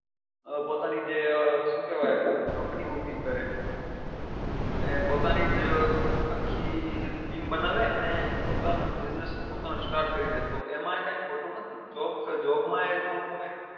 . અ પોતાની જે શું કેવાય company ઉભી કરે અને પોતાની જ આખી team બનાવે અને પોતાનો business પોતાનો start કરી દે તો એમાં એ કઈ ખોટું નથી job job માં એ ખોટું કઈ નથી